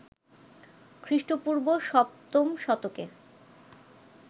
খ্রিস্টপূর্ব ৭ম শতকে